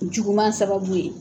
Juguman sababu ye.